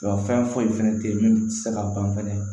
Nka fɛn foyi fɛnɛ tɛ ye min tɛ se ka ban fɛnɛ